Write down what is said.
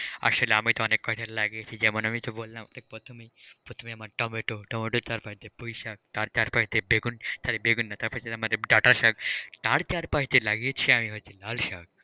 আসলে আমি তো অনেক ফসল লাগিয়েছি যেমন আমিতো বললাম প্রথমেই প্রথমেই টমেটো, টমেটোর চারপাশ দিয়ে পুইশাক তার চারপাশ দিয়ে বেগুন, sorry বেগুন না তার চারপাশ দিয়ে ডাঁটা শাক তার চারপাশ দিয়ে লাগিয়েছি আমি হচ্ছে লাল শাক।